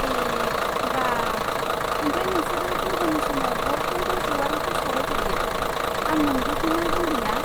ए, बा। आमफ्राय नोंसोरो फोरबोनि समाव हरफ्रामबो जेवारिखौ सावबाय थायो, आं नंगौखौनो बुंदों ना?